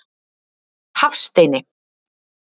Hafsteini